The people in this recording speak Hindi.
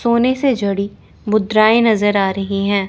सोने से जोड़ी मुद्राएं नजर आ रही है।